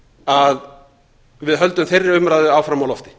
að við höldum þeirri umræðu áfram á lofti